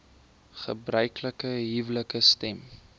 gebruiklike huwelike stem